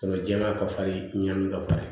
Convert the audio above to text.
jɛn'a ka fari ɲanni ka farin